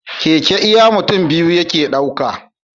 Keke iya mutun biyu yake ɗauka